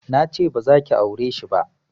Nace bazaki aureshi ba